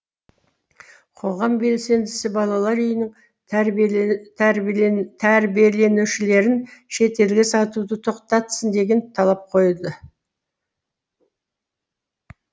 қоғам белсендісі балалар үйінің тәрбиеленушілерін шетелге сатуды тоқтатсын деген талап қойды